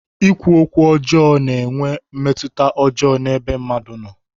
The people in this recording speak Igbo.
Ikwu okwu ọjọọ na-enwe mmetụta ọjọọ n'ebe mmadụ nọ.